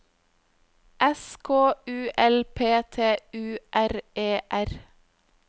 S K U L P T U R E R